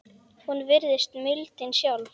Hún virðist mildin sjálf.